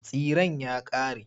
Tsiren ya ƙare.